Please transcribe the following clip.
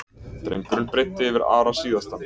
Drengurinn breiddi yfir Ara síðastan.